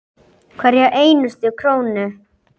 Hverja einustu krónu.